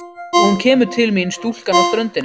Og hún kemur til mín stúlkan á ströndinni.